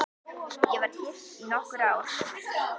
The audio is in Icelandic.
Ég var gift í nokkur ár.